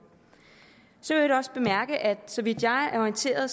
så øvrigt også bemærke at så vidt jeg er orienteret